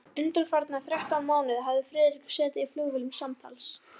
Undanfarna þrettán mánuði hafði Friðrik setið í flugvélum samtals